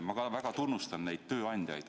Ma väga tunnustan neid tööandjaid.